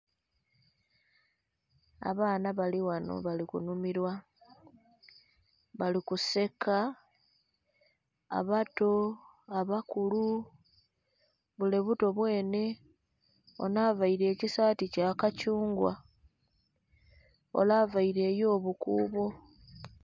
Abaana bali ghano bali ku nhumilwa, bali kuseka abato, abakulu bule buto bwenhe, onho avaire ekisaati kya kathungwa, ole avaire eyo bukuubo.